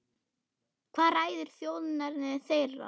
Hvað ræður þjóðerni þeirra?